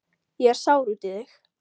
Ég er sár út í þig.